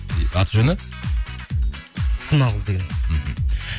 аты жөні смағұл деген мхм